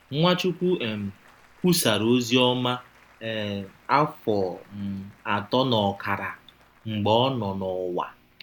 Nwachụkwụ um kwusara ọzi ọma um afọ um atọ n’ọkara mgbe ọ nọ n’ụwa.